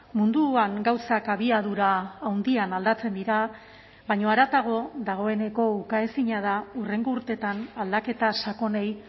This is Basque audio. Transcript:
munduan gauzak abiadura handian aldatzen dira baina haratago dagoeneko ukaezina da hurrengo urteetan aldaketa sakonei